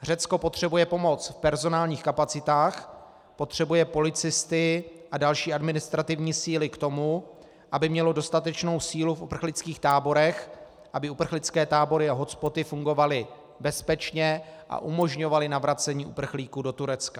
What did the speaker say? Řecko potřebuje pomoc v personálních kapacitách, potřebuje policisty a další administrativní síly k tomu, aby mělo dostatečnou sílu v uprchlických táborech, aby uprchlické tábory a hotspoty fungovaly bezpečně a umožňovaly navracení uprchlíků do Turecka.